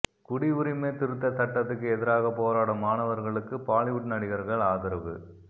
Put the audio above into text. குடியுரிமை திருத்த சட்டத்துக்கு எதிராக போராடும் மாணவர்களுக்கு பாலிவுட் நடிகர்கள் ஆதரவு